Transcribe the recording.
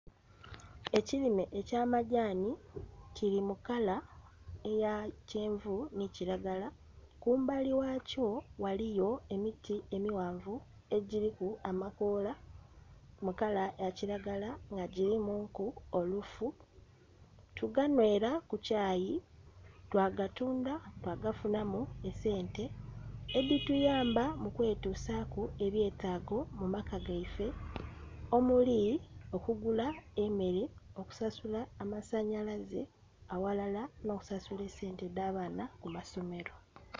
Ekirime ekya madhani kiri mu kala eya kyenvu nhi kilagala, kumbali ghakyo ghaliyo emiti emighaanvu egiriku amakoola eya kiragala nga girimuku olufu. Tuganhwera ku kyaayi twagatundha twa gafunhamu esente edhituyamba mu kwetusaku ebyetago mu maka ghaife, omuli okukugula emere okusasula amasanhalaze aghalala nho kusasula esente dha baana ku masomero.